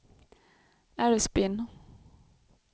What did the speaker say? Älvsbyn